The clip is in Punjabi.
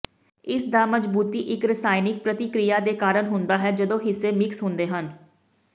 ਇਸਦਾ ਮਜ਼ਬੂਤੀ ਇੱਕ ਰਸਾਇਣਕ ਪ੍ਰਤੀਕ੍ਰਿਆ ਦੇ ਕਾਰਨ ਹੁੰਦਾ ਹੈ ਜਦੋਂ ਹਿੱਸੇ ਮਿਕਸ ਹੁੰਦੇ ਹਨ